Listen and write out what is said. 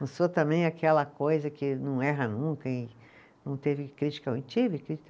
Não sou também aquela coisa que não erra nunca em, não teve crítica ruim, tive crítica